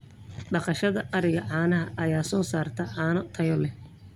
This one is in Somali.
Dhaqashada ariga caanaha ayaa soo saarta caano tayo leh.